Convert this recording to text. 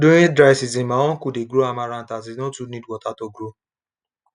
durign dry season my uncle dey grow amaranth as e no too need water to grow